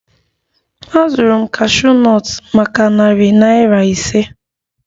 Azụrụ m cashew nut maka narị naira ise